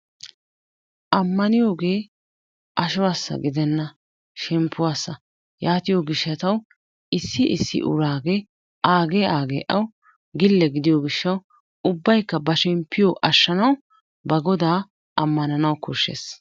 Amaniyogee ashuwasa gidenna shempuwasa yatiyo gishatawu issi issi uragee awu agee agee awu gile gidiyo gishawu ubayka ba shempiyo ashanawu ba goda amananawu koshees.